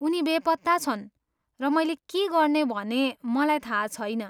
उनी बेपत्ता छन् र मैले के गर्ने भने मलाई थाहा छैन।